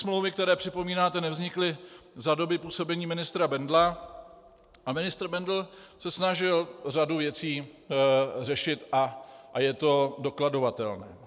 Smlouvy, které připomínáte, nevznikly za doby působení ministra Bendla a ministr Bendl se snažil řadu věcí řešit a je to dokladovatelné.